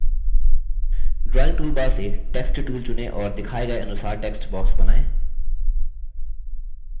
drawing toolbar से text tool चुनें और दिखाए गए अनुसार text box बनाएँ